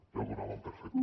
ja ho donaven per fet